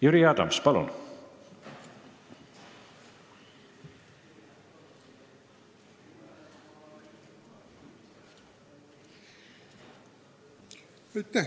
Jüri Adams, palun!